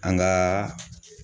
An gaa